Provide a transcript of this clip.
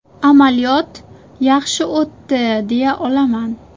Amaliyot yaxshi o‘tdi deya olaman.